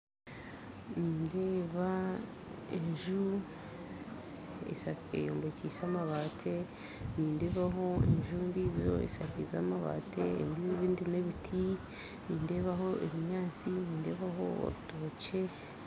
Nindeeba enju eyombekyise amabaati nindeebaho enju endijo eshakiize amabaati nebiti nindeebaho ebinyaatsi nindeebaho orutokye